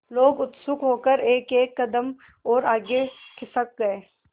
लोग उत्सुक होकर एकएक कदम और आगे खिसक गए